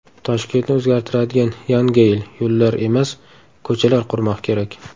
Toshkentni o‘zgartiradigan Yan Geyl: Yo‘llar emas, ko‘chalar qurmoq kerak.